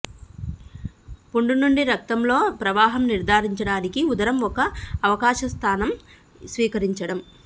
పుండు నుండి రక్తంలో ప్రవాహం నిర్ధారించడానికి ఉదరం ఒక అవకాశం స్థానం స్వీకరించడం